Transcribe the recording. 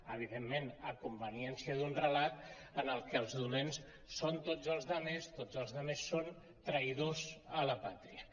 evidentment a conveniència d’un relat en el que els dolents són tots els altres tots els altres són traïdors a la pàtria